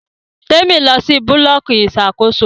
Temi tí lọ sì Búlọ̀kì Ìṣàkóso.